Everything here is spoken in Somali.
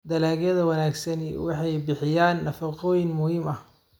Dalagyada wanaagsani waxay bixiyaan nafaqooyin muhiim ah.